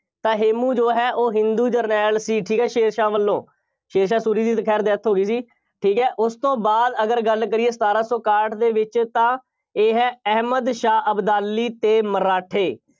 ਤਾਂ ਹੇਮੂੰ ਜੋ ਹੈ ਉਹ ਹਿੰਦੂ ਜਰਨੈਲ ਸੀ, ਠੀਕ ਹੈ, ਸ਼ੇਰ ਸ਼ਾਹ ਵੱਲੋਂ, ਸ਼ੇਰ ਸ਼ਾਹ ਸੂਰੀ ਦੀ ਖੈਰ death ਹੋ ਗਈ ਸੀ। ਠੀਕ ਹੈ, ਉਸ ਤੋਂ ਬਾਅਦ ਅਗਰ ਗੱਲ ਕਰੀਏ ਸਤਾਰਾਂ ਸੌ ਇਕਾਹਠ ਦੇ ਵਿੱਚ ਤਾਂ ਇਹ ਹੈ ਅਹਿਮਦ ਸ਼ਾਹ ਅਬਦਾਲੀ ਅਤੇ ਮਰਾਠੇ।